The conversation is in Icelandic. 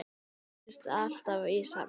Það bætist alltaf í safnið.